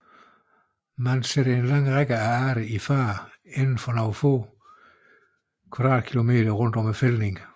Man sætter en lang række af arter i fare inden for nogle få kvadratkilometer rundt om fældningen